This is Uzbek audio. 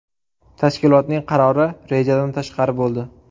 Tashkilotning qarori rejadan tashqari bo‘ldi.